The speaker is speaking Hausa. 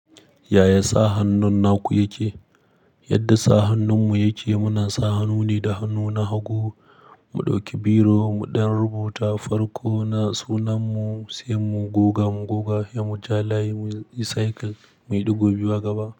Yaya sa hannun naku yake? Yadda sa hannunmu yake, muna sa hannu ne da hannu na hagu. Mu ɗauki biro mu ɗan rubuta farko na sunanmu, sai mu goga mu goga ya mu ja layi, mu yi cycle mai ɗigo biyu a gaba.